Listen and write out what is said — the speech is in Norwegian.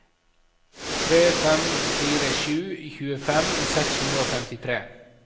tre fem fire sju tjuefem seks hundre og femtitre